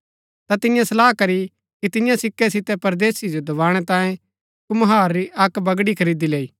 ता तियें सलाह करी की तियां सिक्कै सितै परदेसी जो दबाणै तांयें कुम्हार री अक्क बगड़ी खरीदी लैई